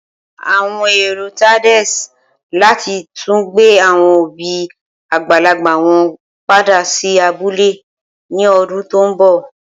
Awọn ero Tades lati tun gbe awọn obi agbalagba wọn pada si abule ni ọdun to nbọ.